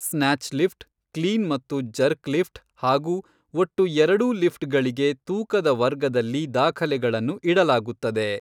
Snatch lift, clean ಮತ್ತು jerk lift ಹಾಗೂ ಒಟ್ಟು ಎರಡೂ ಲಿಫ್ಟ್ಗಳಿಗೆ ತೂಕದ ವರ್ಗದಲ್ಲಿ ದಾಖಲೆಗಳನ್ನು ಇಡಲಾಗುತ್ತದೆ.